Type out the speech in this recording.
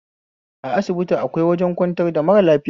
A asibiti akwai wajen kwantar da mara lafiya